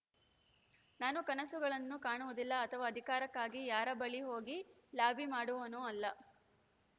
ನಾನು ಕನಸುಗಳನ್ನು ಕಾಣುವುದಿಲ್ಲ ಅಥವಾ ಅಧಿಕಾರಕ್ಕಾಗಿ ಯಾರ ಬಳಿಗೂ ಹೋಗಿ ಲಾಬಿ ಮಾಡುವವನೂ ಅಲ್ಲ